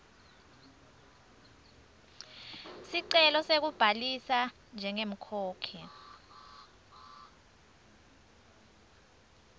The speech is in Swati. sicelo sekubhalisa njengemkhokhi